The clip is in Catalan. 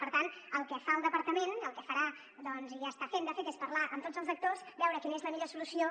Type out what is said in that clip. per tant el que fa el departament el que farà doncs i ja està fent de fet és parlar amb tots els actors veure quina és la millor solució